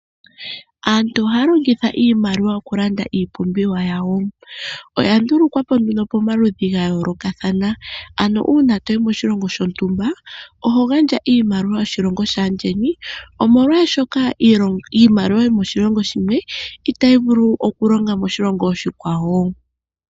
Aantu ohaya longitha iimaliwa oku landa iipumbiwa yawo, oya ndulukwapo nduno pomaludhi ga yoolokathana ano uuna toyi moshilongo shontumba oho gandja iimaliwa yoshilongo shaandjeni omolwashoka iimaliwa yomoshilongo sheni itayi vulu oku longa moshilongo oshikwawo.